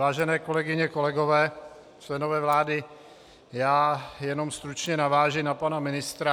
Vážené kolegyně, kolegové, členové vlády, já jenom stručně navážu na pana ministra.